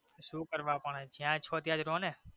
સુ કરવા પણ જ્યાં છો ત્યાં જ રયો ને